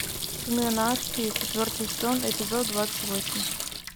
сыны анархии четвертый сезон эпизод двадцать восемь